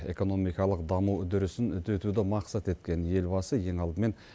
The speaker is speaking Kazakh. экономикалық даму үдерісін үдетуді мақсат еткен елбасы ең алдымен